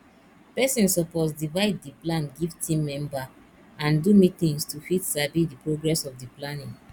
persin suppose divide di plan give team member and do meetings to fit sabi di progress of di planning